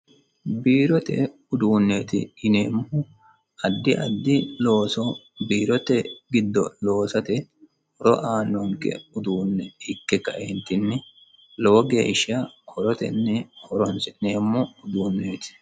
Biirote uduuneti yineemmohu biirote addi addi looso horo aanonke uduune ikke kae lowontanni horote horonsi'neemmoho koneti.